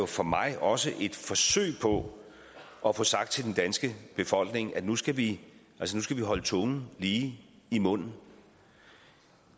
for mig også et forsøg på at få sagt til den danske befolkning at nu skal vi skal vi holde tungen lige i munden